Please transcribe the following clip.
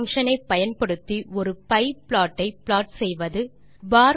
pie function ஐ பயன்படுத்தி ஒரு பியே ப்ளாட் ஐ ப்ளாட் செய்வது 3